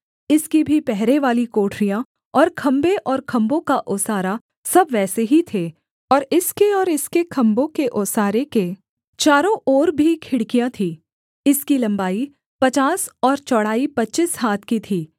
इसकी भी पहरेवाली कोठरियाँ और खम्भे और खम्भों का ओसारा सब वैसे ही थे और इसके और इसके खम्भों के ओसारे के चारों ओर भी खिड़कियाँ थीं इसकी लम्बाई पचास और चौड़ाई पच्चीस हाथ की थी